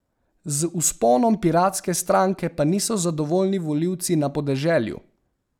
Z vzponom piratske stranke pa niso zadovoljni volivci na podeželju.